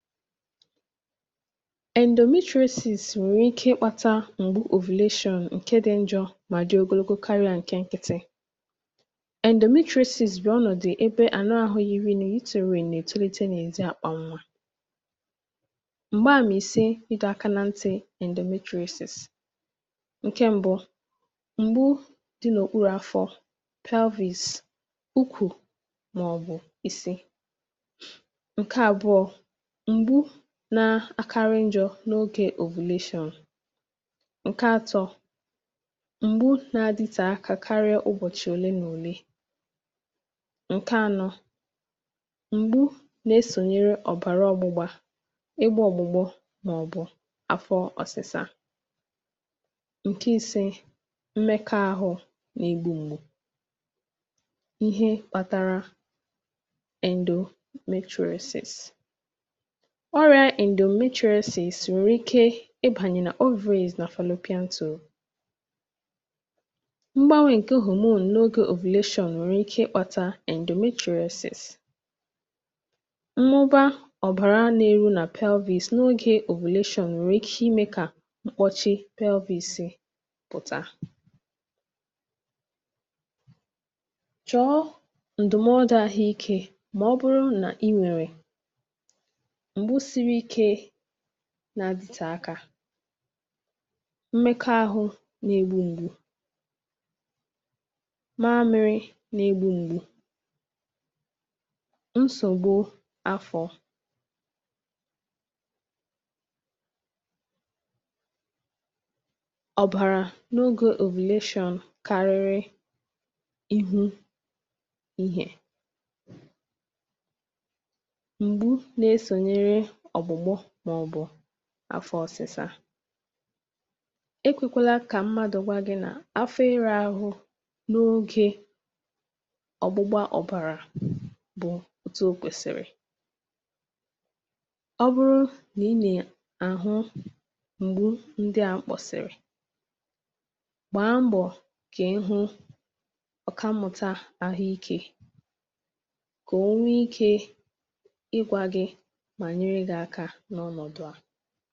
endometriosis nwẹ̀rẹ̀ ike ị kpata m̀gbu ovulation ǹkẹ dị njọ̄, mà dị ogologo karịa ǹkẹ nkịtị. endometriosis bụ̀ ọnọ̀dụ ẹbẹ ànụ ahụ yiri uterine nà ètolite n’èzi àkpà nwā. m̀gba àmà ịsị ị dọ̄ aka na ntị̀ endometriosis. ǹkẹ mbụ, m̀gbu dị n’òkpụru afọ, pelvis, ukwù, mà ọ̀ bụ isi. ǹkẹ àbụọ̄, m̀gbu na akarị njọ̄, n’ogē ovulation. ǹkẹ atọ, m̀gbu na adịdtẹ̀ akā karịa ụbọ̀chị òlee nà òlee. ǹkẹ anọ, m̀gbu na esònyere òbàrà ọgbụgba, ị gbā ọ̀gbụgbọ, mà ọ̀ bụ̀ afọ ọsịsa. ǹkẹ ise, mmẹkọ ahụ na egbu mgbu. ihe kpatara endometriosis. ọrịā endometriosis nwèrè ike ị bànyè nà ovaries nà fallopian tubes. mgbanwē ǹke hormone n’ogē ovulation nwẹ̀rẹ̀ ike ị kpata endometriosis. mmụba ọ̀bàra na eru nà pelvis, n’ogē ovulation nwerè ike ị me kà mkpọchị pelvis pụ̀ta. chọ̀ọ ǹdụmọdụ ahụ ikē, mà ọ bụrụ nà ị nwẹ̀rẹ̀ m̀gbu siri ikē na adịtẹ̀ akā. mmẹkọ ahụ na egbu mgbu, mamịrị na egbu mgbu, nsògbu afọ̄, ọ̀bàrà n’ogē ovulation karịrị ịhụ ịhẹ̄, m̀gbu na esònyere ọ̀gbụ̀gbọ mà ọ̀ bụ̀ afọ ọsịsa. ekwēkwela kà mmadù gwa gị nà afọ ịrụ̄ arụ n’ogē ọ̀gbụgba ọ̀bàrà bụ̀ otu o kwèsị̀rị̀. ọ bụrụ nà ị nà àhụ ndị à m kpọ̀sị̀rị̀, gbàa mbọ̀ kà ị hụ ọ̀kammụ̀ta ahụ ikē, kà o nwe ikē ị gwā gị, mà nyere gị aka n’ọnọ̀dụ à.